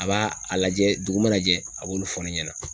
A b'a a lajɛ dugu mana jɛ a b'olu fɔ ne ɲɛna.